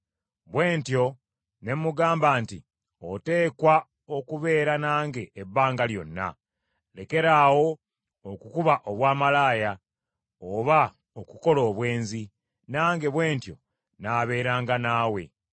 Bwe ntyo ne mugamba nti, “Oteekwa okubeera nange ebbanga lyonna. Lekeraawo okukuba obwamalaaya, oba okukola obwenzi, nange bwe ntyo naabeeranga naawe.”